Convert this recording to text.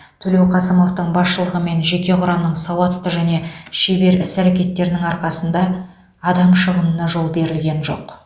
төлеуқасымовтың басшылығымен жеке құрамның сауатты және шебер іс әрекеттерінің арқасында адам шығынына жол берілген жоқ